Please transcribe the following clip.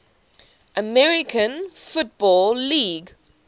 american football league